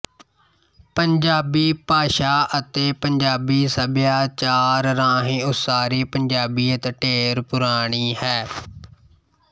ਪੰਜਾਬੀ ਭਾਸ਼ਾ ਅਤੇ ਪੰਜਾਬੀ ਸੱਭਿਆਚਾਰ ਰਾਹੀਂ ਉਸਾਰੀ ਪੰਜਾਬੀਅਤ ਢੇਰ ਪੁਰਾਣੀ ਹੈ